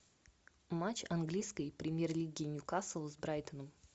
матч английской премьер лиги ньюкасл с брайтоном